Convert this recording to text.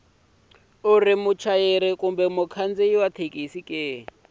u ri muchayeri mukhandziyi wa